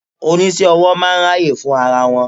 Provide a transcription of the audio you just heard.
Oníṣẹ́-owó máa ń ráyè fún ara wọn.